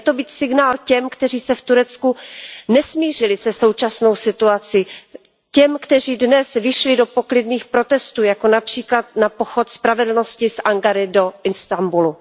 Měl by to být signál těm, kteří se v Turecku nesmířili se současnou situací, těm, kteří dnes vyšli do poklidných protestů, jako například na pochod spravedlnosti z Ankary do Istanbulu.